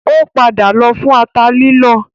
Ó padà lọ fún ata lílọ